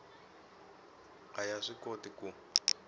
a yi swi koti ku